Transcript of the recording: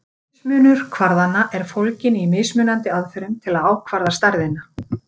Mismunur kvarðanna er fólginn í mismunandi aðferðum til að ákvarða stærðina.